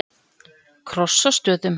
Krossastöðum